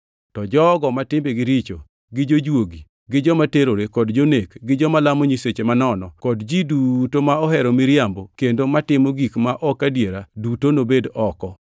To jogo ma timbegi richo, gi jojuogi, gi joma terore kod jonek, gi joma lamo nyiseche manono kod ji duto ma ohero miriambo kendo matimo gik ma ok adiera, duto nobed oko.